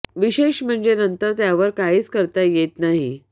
विशेष म्हणजे नंतर त्यावर काहीच करता येत नाही